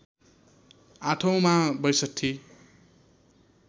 आठौँमा ६२